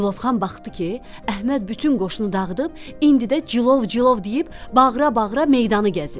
Cilovxan baxdı ki, Əhməd bütün qoşunu dağıdıb, indi də cilov, cilov deyib bağıra-bağıra meydanı gəzir.